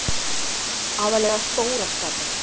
Aðallega stóra skatan.